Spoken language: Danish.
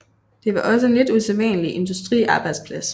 Det var også en lidt usædvanlig industriarbejdsplads